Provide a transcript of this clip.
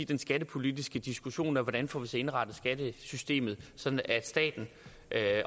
den skattepolitiske diskussion af hvordan får indrettet skattesystemet sådan at staten